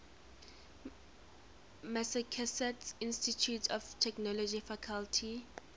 massachusetts institute of technology faculty